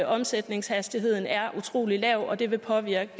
omsætningshastigheden er utrolig lav og det vil påvirke